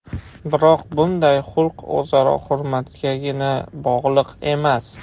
Biroq bunday xulq o‘zaro hurmatgagina bog‘liq emas.